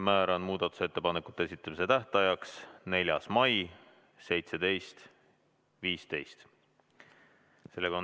Määran muudatusettepanekute esitamise tähtajaks 4. mai kell 17.15.